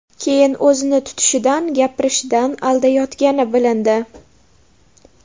Keyin o‘zini tutishidan, gapirishidan aldayotgani bilindi.